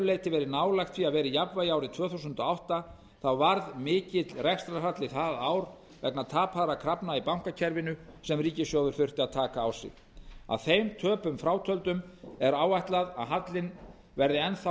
leyti verið nálægt því að vera í jafnvægi árið tvö þúsund og átta varð mikill rekstrarhalli það ár vegna tapaðra krafna í bankakerfinu sem ríkissjóður þurfti að taka á sig að þeim töpum frátöldum er áætlað að hallinn verði enn